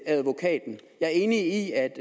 advokaten jeg er enig i at